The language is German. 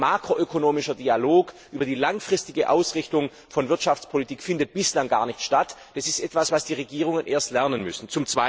Aber ein makroökonomischer Dialog über die langfristige Ausrichtung von Wirtschaftspolitik findet bislang gar nicht statt. Das ist etwas, was die Regierungen erst lernen müssen.